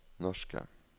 norske